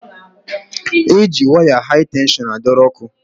E ji waya hai tenshọn a dọrọ ọkụ.